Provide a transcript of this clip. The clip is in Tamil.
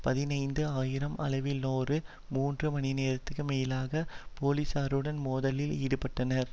பதினைந்து ஆயிரம் அளவிலானோர் மூன்று மணிநேரத்திற்கு மேலாக பொலிசாருடன் மோதலில் ஈடுபட்டனர்